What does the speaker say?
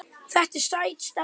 Þetta er sæt stelpa.